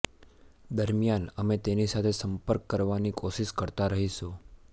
દરમિયાન અમે તેની સાથે સંપર્ક કરવાની કોશીશ કરતા રહીશું